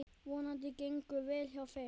Vonandi gengur vel hjá þeim.